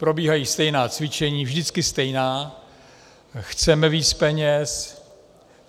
Probíhají stejná cvičení, vždycky stejná - chceme víc peněz.